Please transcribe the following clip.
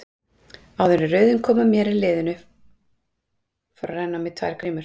Áður en röðin kom að mér í hliðinu fóru að renna á mig tvær grímur.